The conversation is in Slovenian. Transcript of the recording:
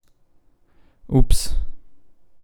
Ups ...